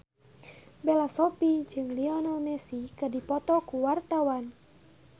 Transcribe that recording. Bella Shofie jeung Lionel Messi keur dipoto ku wartawan